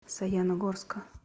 саяногорска